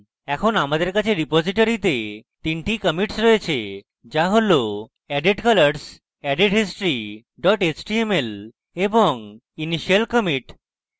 এখন আমাদের কাছে রিপোজিটরীতে তিনটি commits রয়েছে যা হল added colors added history html এবং initial commit